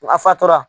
A fatɔra